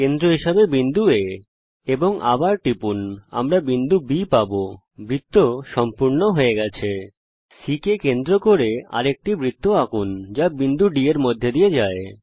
কেন্দ্র হিসাবে বিন্দু A C কে কেন্দ্র করে আর একটি বৃত্ত আঁকুন যা বিন্দু D এর মধ্যে দিয়ে যায়